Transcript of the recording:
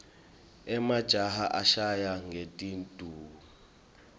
emajaha ashayana ngetinduku